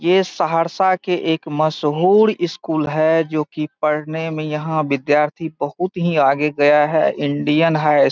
ये सहरसा के एक मशहूर स्‍कूल है जो कि पढ़ने में यहाँ विद्यार्थी बहुत ही आगे गया है इंडियन हाई स्कू --